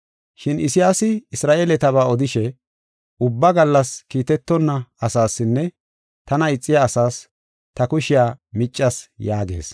Shin Isayaasi Isra7eeletaba odishe, “Ubbaa gallas kiitetonna asaasinne tana ixiya asaas ta kushiya miccas” yaagees.